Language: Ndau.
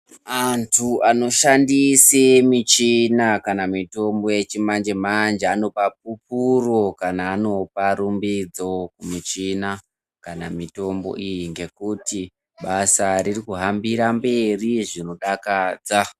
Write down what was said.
Antu anoshandisa michina kana mitombo yechimanjemanje anopa pupuro kana anopa rumbidzo kumichina kana mitombo iyi ngekuti basa ririkuhambira mberi zvinodakadza.